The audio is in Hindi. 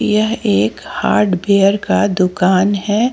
यह एक हार्डवेयर का दुकान है।